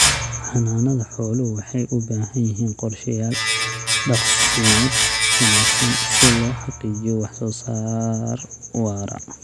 Xanaanada xooluhu waxay u baahan yihiin qorshayaal daaqsimeed wanaagsan si loo xaqiijiyo wax soo saar waara.